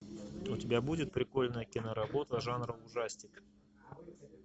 у тебя будет прикольная киноработа жанра ужастик